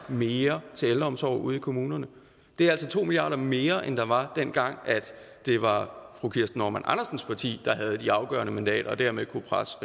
mere til ældreomsorg ude i kommunerne det er altså to milliard kroner mere end der var dengang det var fru kirsten normann andersens parti der havde de afgørende mandater og dermed kunne presse